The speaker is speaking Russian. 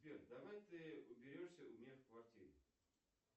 сбер давай ты уберешься у меня в квартире